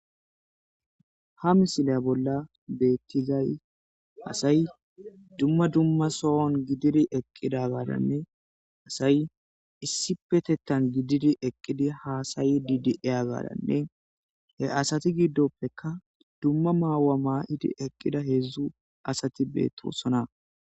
ha misila bolla bettizay asay dumma dumma soon gidiri eqqida gadanne asay issi petettan gididi eqqidi haasayi didi7eya gaadanne he asati giddoppeka dumma maawa maa7idi eqqida heedzdzu asati beettoossona